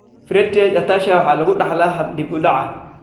Friedreich ataxia waxaa lagu dhaxlaa hab dib u dhac ah.